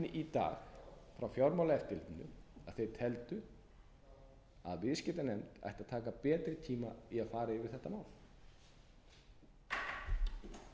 í dag frá fjármálaeftirlitinu að þeir teldu að viðskiptanefnd ætti að taka betri tíma í að fara yfir þetta mál